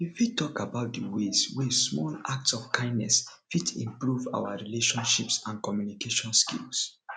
you fit talk about di ways wey small acts of kindness fit improve our relationships and communication skills